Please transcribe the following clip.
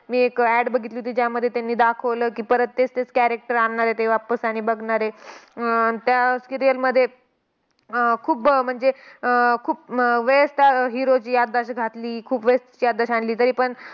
मी एक ad बघितली होती. ज्यामध्ये त्यांनी दाखवलं की, परत तेच तेच character आणणार आहेत ते वापस आणि बघणार आहे. अं त्या serial मध्ये अह खूप म्हणजे अह खूप वेळेस त्या hero ची घातली, खूप वेळेस आणली. तरीपण